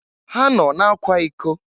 Ha nọ na-akwa iko.